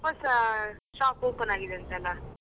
ಹೊಸ shop open ಆಗಿದೆ ಅಂತಲ್ಲ.